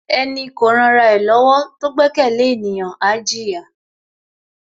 Ẹni kò ran ra ẹ lọ́wọ́ tó gbẹ́kẹ̀lé ènìyàn, á jìyà.